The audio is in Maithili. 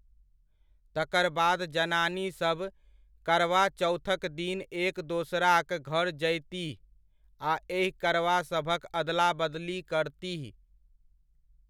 तकर बाद जनानीसभ करवा चौथक दिन एक दोसराक घर जयतीह आ एहि करवासभक अदला बदली करतीह।